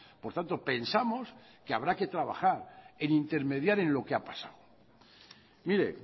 por tanto pensamos que habrá que trabajar e intermediar en lo que ha pasado mire